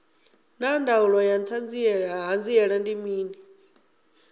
naa ndangulo ya hanziela ndi mini